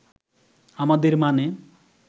আমাদের মানে